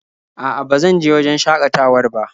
A'a ba zan je wajen shakatawar ba.